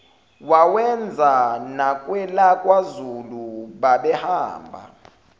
wawenza nakwelakwazulu babehamba